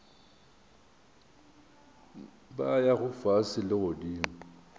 ba yago fase le godimo